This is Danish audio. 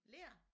Ler